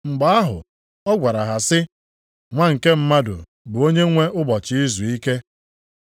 Mgbe ahụ ọ gwara ha sị, “Nwa nke Mmadụ bụ Onyenwe Ụbọchị Izuike.”